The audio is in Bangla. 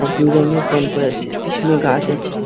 আর ব্লু রঙের প্যান্ট পড়ে আছে পিছনে গাছ আছে।